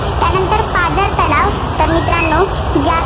तर मित्रांनो ज्या